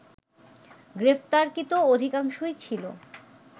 গ্রেপ্তারকৃত অধিকাংশই ছিল